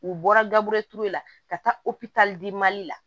U bɔra gabriel ture la ka taa operetalidi mali la